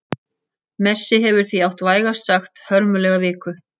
Messi hefur því átt vægast sagt hörmulega viku.